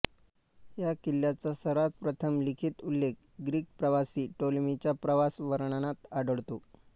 या किल्ल्याचा सर्वात प्रथम लिखित उल्लेख ग्रीक प्रवासी टॉलेमीच्या प्रवास वर्णनात आढळतो